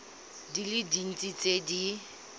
di le dintsi tse di